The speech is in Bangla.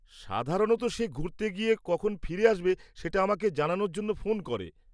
সাধারণত সে ঘুরতে গিয়ে কখন ফিরে আসবে সেটা আমাকে জানানোর জন্য ফোন করে।